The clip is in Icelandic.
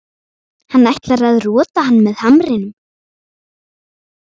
Hann ætlar að rota hann með hamrinum.